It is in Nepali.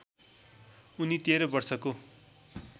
उनी १३ वर्षको